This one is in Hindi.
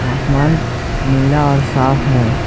आसमान नीला और साफ है।